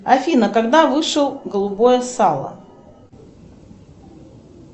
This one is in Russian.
афина когда вышел голубое сало